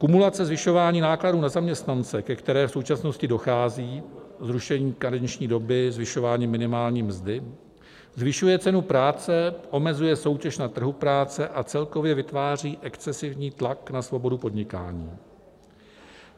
Kumulace zvyšování nákladů na zaměstnance, ke které v současnosti dochází - zrušení karenční doby, zvyšování minimální mzdy - zvyšuje cenu práce, omezuje soutěž na trhu práce a celkově vytváří excesivní tlak na svobodu podnikání.